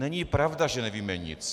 Není pravda, že nevíme nic.